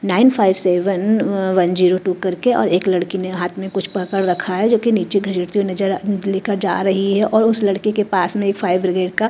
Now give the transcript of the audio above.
nine five seven uh one zero two करके और एक लड़की ने हाथ में कुछ पकड़ रखा है जो कि नीचे घसीटती हुई नजर लेकर जा रही है और उस लड़के के पास में एक फायर ब्रिगेड का--